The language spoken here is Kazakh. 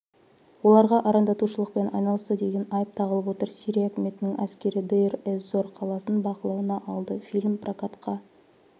оларға арандатушылықпен айналысты деген айып тағылып отыр сирия үкіметінің әскері дейр-эз-зор қаласын бақылауына алды фильм прокатқа